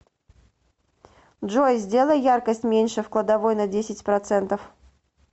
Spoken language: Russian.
джой сделай яркость меньше в кладовой на десять процентов